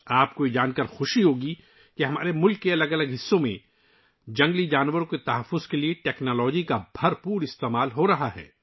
آپ کو یہ جان کر خوشی ہوگی کہ ہمارے ملک کے مختلف حصوں میں جنگلی حیات کے تحفظ کے لیے ٹیکنالوجی کا بڑے پیمانے پر استعمال کیا جا رہا ہے